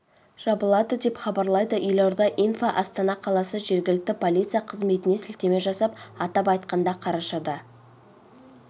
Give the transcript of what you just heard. жабылады деп хабарлайды елорда инфо астана қаласы жергілікті полиция қызметіне сілтеме жасап атап айтқанда қарашада